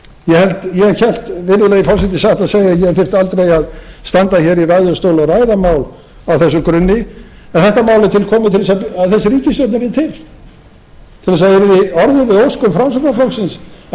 ég hélt virðulegi forseti satt að segja að ég þyrfti aldrei að standa hér í ræðustól og ræða mál á þessum grunni en þetta mál er tilkomið til þess að þessi ríkisstjórn yrði til til þess að það yrði orðið við óskum framsóknarflokksins að